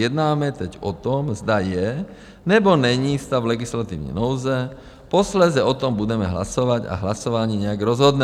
Jednáme teď o tom, zda je, nebo není stav legislativní nouze, posléze o tom budeme hlasovat a hlasování nějak rozhodne.